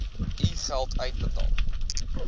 u geld uitbetaal